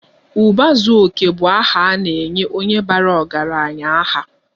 Uba zuo oke bu aha ana-enye onye bara ọgaranya aha.